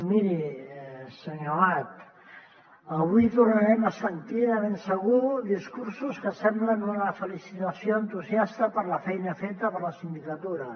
miri senyor amat avui tornarem a sentir de ben segur discursos que semblen una felicitació entusiasta per la feina feta per la sindicatura